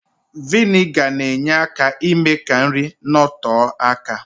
Viniga na-enye aka ime ka ihe nri nọtọọ aka